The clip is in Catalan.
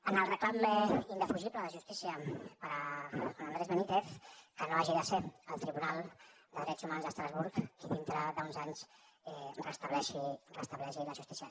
en el reclam indefugible de la justícia per a juan andrés benítez que no hagi de ser el tribunal de drets humans d’estrasburg qui dintre d’uns anys restableixi la justícia